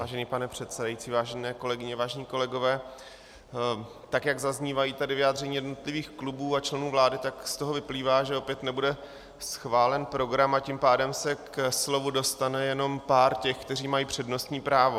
Vážený pane předsedající, vážené kolegyně, vážení kolegové, tak jak zaznívají tady vyjádření jednotlivých klubů a členů vlády, tak z toho vyplývá, že opět nebude schválen program, a tím pádem se ke slovu dostane jenom pár těch, kteří mají přednostní právo.